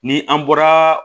Ni an bɔra